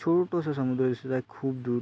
छोटुस समुद्र दिसत आहे खूप दूर.